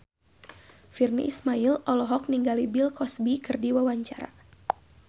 Virnie Ismail olohok ningali Bill Cosby keur diwawancara